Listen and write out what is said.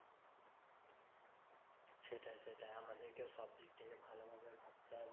সেটাই সেটাই আমাদেরকেও সব দিক থেকে ভালো ভাবে ভাবতে হবে